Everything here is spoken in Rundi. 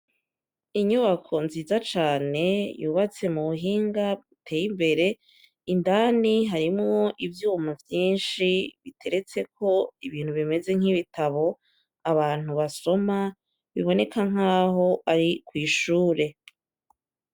Inyubako nziza cane yubatse mubuhinga buteye imbere, indani harimwo ivyuma vyinshi biteretseko ibintu bimeze nk'ibitabo abantu basoma, biboneka nk'aho ari kw'ishure.